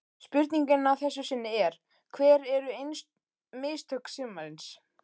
Spurningin að þessu sinni er: Hver eru mistök sumarsins?